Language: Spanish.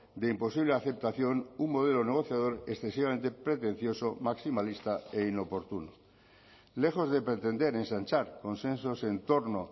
de imposible aceptación un modelo negociador excesivamente pretencioso maximalista e inoportuno lejos de pretender ensanchar consensos en torno